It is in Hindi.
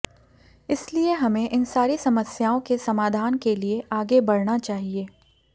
इसलिए हमें इन सारी समस्याओं के समाधान के लिए आगे बढना चाहिए